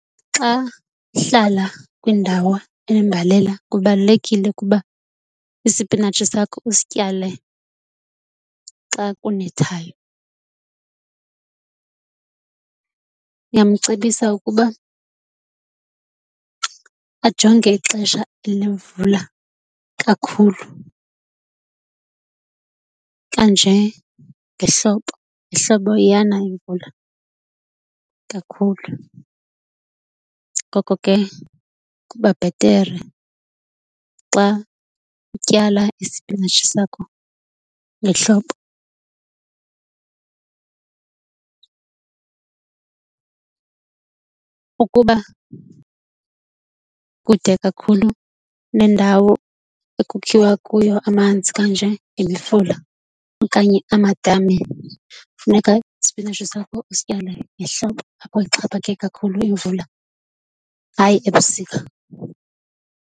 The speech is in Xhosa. Xa uhlala kwindawo enembalela kubalulekile ukuba isipinatshi sakho usityale xa kunethayo. Ndingamcebisa ukuba ajonge ixesha lemvula kakhulu kanje ngehlobo. Ngehlobo iyana imvula kakhulu. Ngoko ke, kuba bhetere xa utyala isipinatshi sakho ngehlobo. Ukuba kude kakhulu nendawo ekukhiwa kuyo amanzi kanjenge mifula okanye amadami funeka isipinatshi sakho usityale ngehlobo apho ixhaphake kakhulu imvula hayi ebusika.